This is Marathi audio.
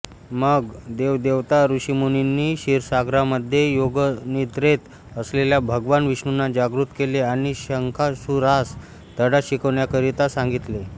मग देवदेवता ऋषीमुनींनी क्षीरसागरामध्ये योगनिद्रेत असलेल्या भगवान विष्णूंना जागृत केले आणि शंखासुरास धडा शिकवण्याकरिता सांगितले